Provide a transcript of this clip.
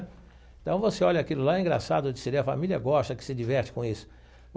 Então, você olha aquilo lá, é engraçado de se ver, a família gosta, que se diverte com isso.